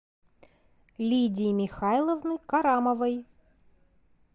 лидии михайловны карамовой